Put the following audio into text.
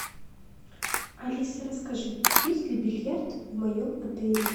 алиса расскажи есть ли бильярд в моем отеле